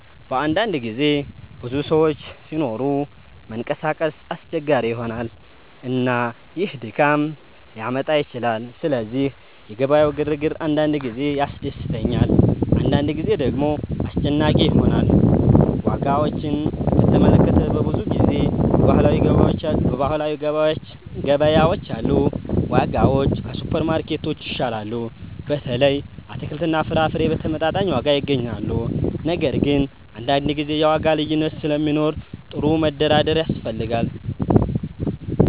በአንዳንድ ጊዜ ብዙ ሰዎች ሲኖሩ መንቀሳቀስ አስቸጋሪ ይሆናል፣ እና ይህ ድካም ሊያመጣ ይችላል። ስለዚህ የገበያው ግርግር አንዳንድ ጊዜ ያስደስተኛል፣ አንዳንድ ጊዜ ደግሞ አስጨናቂ ይሆናል። ዋጋዎችን በተመለከተ፣ በብዙ ጊዜ በባህላዊ ገበያዎች ያሉ ዋጋዎች ከሱፐርማርኬቶች ይሻላሉ። በተለይ አትክልትና ፍራፍሬ በተመጣጣኝ ዋጋ ይገኛሉ። ነገር ግን አንዳንድ ጊዜ የዋጋ ልዩነት ስለሚኖር ጥሩ መደራደር ያስፈልጋል።